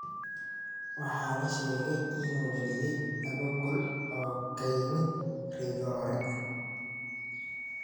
Waxaa la sheegaa inuu dhaliyay laba gool oo ka yimid rigoore.